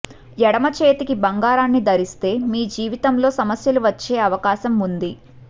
ఎడమ చేతికి బంగారాన్ని ధరిస్తే మీ జీవితంలో సమస్యలు వచ్చే అవకాశం ఉంది